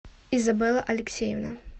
изабелла алексеевна